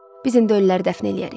Biz indi öyləri dəfn eləyərik.